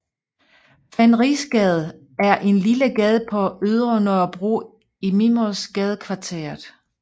Fenrisgade er en lille gade på Ydre Nørrebro i Mimersgadekvarteret